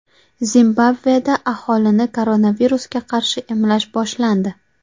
Zimbabveda aholini koronavirusga qarshi emlash boshlandi.